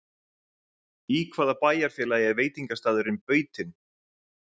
Í hvaða bæjarfélagi er veitingastaðurinn Bautinn?